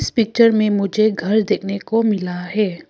इस पिक्चर में मुझे घर देखने को मिला है।